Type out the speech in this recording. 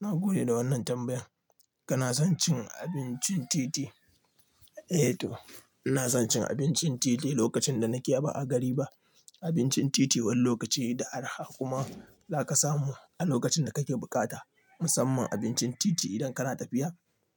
Na gode da wannan tambayan. Kana son cin abincin titi? Eh to, ina son cin abincin titi lokacin da nake ba a gari ba. Abincin titi wani lokaci yana da araha kuma zaka samu a lokacin da kake bukata. Musamman abincin titi idan kana tafiya